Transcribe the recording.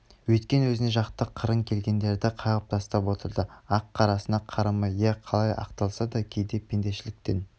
өйткен өзіне жақты қырын келгендерді қағып тастап отырды ақ-қарасына қарамай иә қалай ақталса да кейде пендешіліктен